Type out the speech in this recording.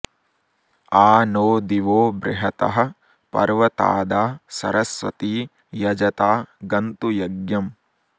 आ नो दिवो बृहतः पर्वतादा सरस्वती यजता गन्तु यज्ञम्